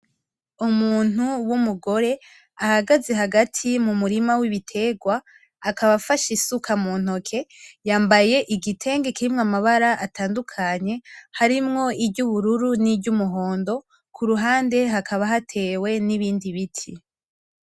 Umuntu w'umugore ahagaze hagati mumurima w'ibiterwa , akaba afashe isuka muntoke, yambaye igitenge kirimwo amabara atandukanye , harimwo iry'ubururu niry'umuhondo kuruhande hakaba hatewe n'ibindi biti.